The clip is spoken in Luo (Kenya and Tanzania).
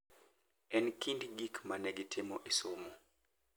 E kind gik ma ne gitimo e somo,